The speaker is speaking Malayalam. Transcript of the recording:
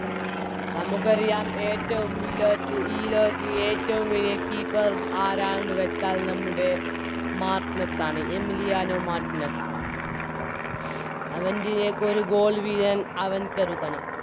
നമുക്കറിയാം ഏറ്റോം ഇല്ലൊത്ത് ഈ ലോകത്ത് ഏറ്റോം വലിയ Keeper ആരാണെന്ന് വെച്ചാൽ നമ്മുടെ മാർട്ടിനെസ്സ് ആണ് എമിലിയാനോ മാർട്ടിനെസ്സ് അവന്റിയേക്ക് ഒര് Goal വീഴാൻ അവൻ കരുതണം